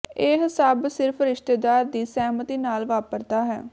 ਇਹ ਸਭ ਸਿਰਫ ਰਿਸ਼ਤੇਦਾਰ ਦੀ ਸਹਿਮਤੀ ਨਾਲ ਵਾਪਰਦਾ ਹੈ